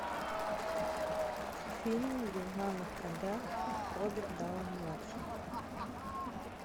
фильм где в главных ролях роберт дауни младший